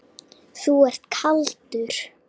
Þú ert kaldur!